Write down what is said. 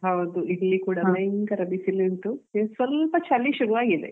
ಹೌದು ಇಲ್ಲಿ ಕೂಡ ಭಯಂಕರ ಬಿಸಿಲು ಉಂಟು ಸ್ವಲ್ಪ ಚಳಿ ಶುರು ಆಗಿದೆ.